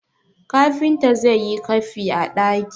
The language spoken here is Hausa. kafinta zai yi kafi a daki!